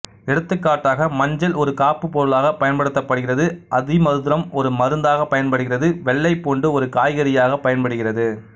எடுத்துக்காட்டாக மஞ்சள் ஒரு காப்புப் பொருளாகப் பயன்படுத்தப்படுகிறது அதிமதுரம் ஒரு மருந்தாகப் பயன்படுகிறது வெள்ளைப்பூண்டு ஒரு காய்கறியாகப் பயன்படுகிறது